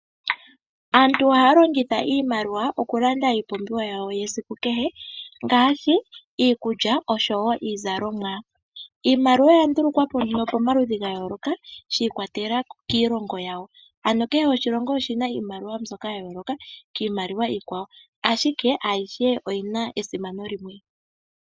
Aantu ohaya longitha iimaliwa okulanda iipumbiwa yawo yesiku kehe ngaashi iikulya osho wo iizalomwa. Iimaliwa oya ndulukwapo nduno pamaludhi ga yooloka sha ikwatelala kiilongo yawo, ano kehe oshilongo oshina iimaliwa yasho ya yooloka kiimaliwa iikwawo ashike ayihe oyi na esimano limwe.